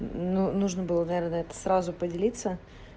нужно было наверное на это сразу поделиться